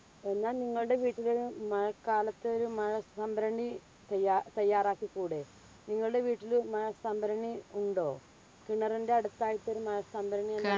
എന്നാൽ നിങ്ങളുടെ വീടുകളിലും മഴക്കാലത്തു ഒരു മഴ സംഭരണി തയ്യാ തയ്യാറാക്കിക്കൂടെ. നിങ്ങളുടെ വീട്ടിൽ മഴ സംഭരണി ഉണ്ടോ? കിണറിന്റെ അടുത്തായിട്ട് ഒരു മഴ സംഭരണി